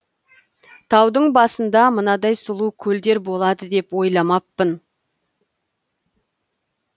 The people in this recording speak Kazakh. таудың басында мынадай сұлу көлдер болады деп ойламаппын